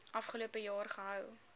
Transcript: afgelope jaar gehou